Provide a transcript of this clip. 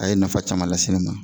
A ye nafa caman lase ne ma